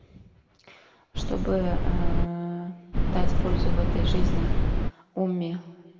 чтобы аа дать пользу в этой жизни уме